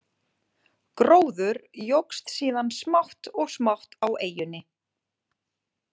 Gróður jókst síðan smátt og smátt á eyjunni.